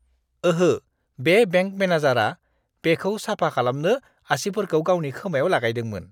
ओहो, बे बेंक मेनेजारआ बेखौ साफा खालामनो आसिफोरखौ गावनि खोमायाव लागायदोंमोन।